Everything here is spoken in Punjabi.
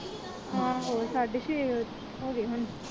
ਆਹੋ ਸਾਢੇ ਛੇ ਹੋ ਗਏ ਹੁਣ।